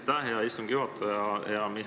Aitäh, hea istungi juhataja!